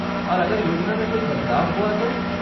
और अगर योजना में कोई बदलाव हुआ तो?